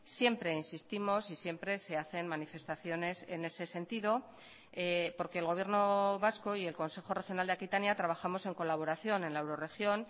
siempre insistimos y siempre se hacen manifestaciones en ese sentido porque el gobierno vasco y el consejo regional de aquitania trabajamos en colaboración en la eurorregión